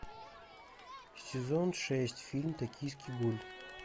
сезон шесть фильм токийский гуль